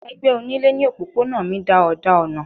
Ẹgbẹ onílé ní òpópónà mi da òdà ọ̀nà.